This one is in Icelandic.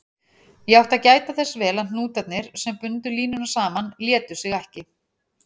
Ég átti að gæta þess vel að hnútarnir, sem bundu línuna saman, létu sig ekki.